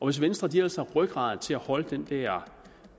hvis venstre ellers har rygrad til at holde den der